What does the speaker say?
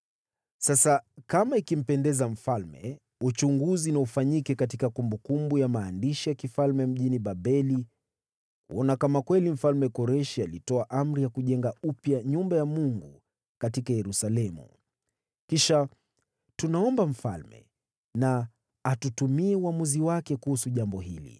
Sasa kama ikimpendeza mfalme, uchunguzi na ufanyike katika kumbukumbu za maandishi ya ufalme mjini Babeli, kuona kama kweli Mfalme Koreshi alitoa amri ya kujenga upya nyumba ya Mungu katika Yerusalemu. Kisha tunaomba mfalme na atutumie uamuzi wake kuhusu jambo hili.